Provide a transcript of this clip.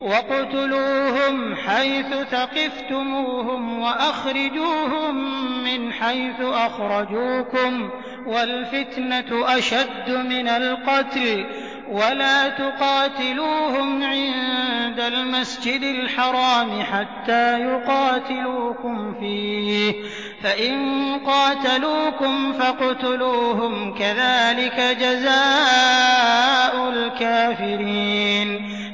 وَاقْتُلُوهُمْ حَيْثُ ثَقِفْتُمُوهُمْ وَأَخْرِجُوهُم مِّنْ حَيْثُ أَخْرَجُوكُمْ ۚ وَالْفِتْنَةُ أَشَدُّ مِنَ الْقَتْلِ ۚ وَلَا تُقَاتِلُوهُمْ عِندَ الْمَسْجِدِ الْحَرَامِ حَتَّىٰ يُقَاتِلُوكُمْ فِيهِ ۖ فَإِن قَاتَلُوكُمْ فَاقْتُلُوهُمْ ۗ كَذَٰلِكَ جَزَاءُ الْكَافِرِينَ